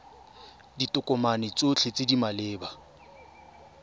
ditokomane tsotlhe tse di maleba